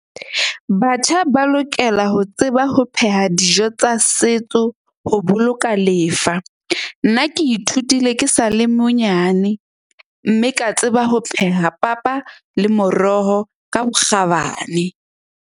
Batjha ba lokela ho tseba ho pheha dijo tsa setso ho boloka lefa. Nna ke ithutile ke sa le monyane. Mme ka tseba ho pheha papa le moroho ka bokgabane.